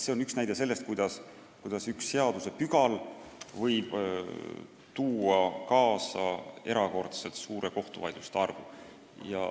See on üks näide sellest, kuidas üks seadusepügal võib tuua kaasa erakordselt suure kohtuvaidluste arvu.